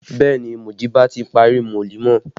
Bẹẹ ni, Mujiba ti ṣe wolimọ